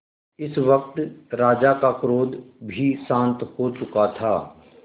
इस वक्त राजा का क्रोध भी शांत हो चुका था